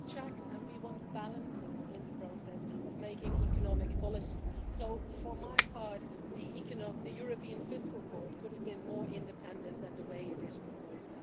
We want checks and we want balances in the process of making economic policy. So for my part, the European Fiscal Board could have been more independent than is currently proposed.